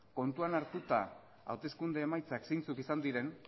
kontuan hartuta hauteskunde emaitzak zeintzuk izan diren